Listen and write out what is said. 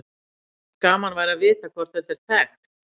Gaman væri að vita hvort þetta er þekkt.